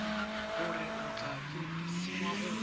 gore o tla fetesiwa go